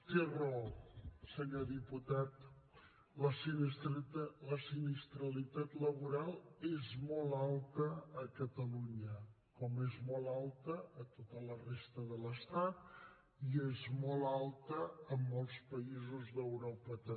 té raó senyor diputat la sinistralitat laboral és molt alta a catalunya com és molt alta a tota la resta de l’estat i és molt alta a molts països d’europa també